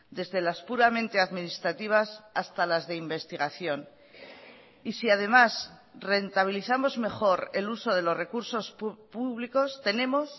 desde las puramente administrativas hasta las de investigación y si además rentabilizamos mejor el uso de los recursos públicos tenemos